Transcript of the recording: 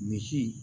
Misi